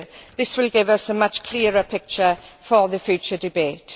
This will give us a much clearer picture for the future debate.